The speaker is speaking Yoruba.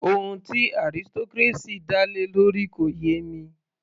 Ohun tí aristocracy dá lé lórí kò yé mi